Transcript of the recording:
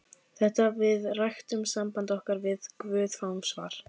Þegar við ræktum samband okkar við guð fáum við svar.